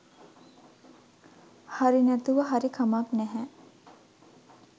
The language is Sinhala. හරි නැතුව හරි කමක් නැහැ